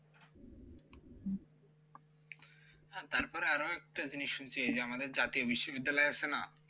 হ্যা তারপরে আরো একটা জিনিস শুনছি আমাদের জাতীয় বিশ্ববিদ্যালয় আছে না